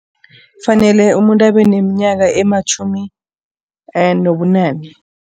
Kufanele umuntu abe neminyaka ematjhumi nobunane.